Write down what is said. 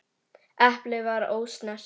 Eplið var ósnert.